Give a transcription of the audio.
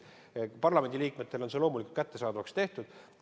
Parlamendiliikmetele on see loomulikult kättesaadavaks tehtud.